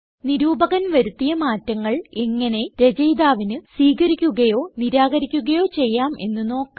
നിരൂപകൻ വരുത്തിയ മാറ്റങ്ങൾ എങ്ങനെ രചയിതാവിന് സ്വീകരിക്കുകയോ നിരാകരിക്കുകയോ ചെയ്യാം എന്ന് നോക്കാം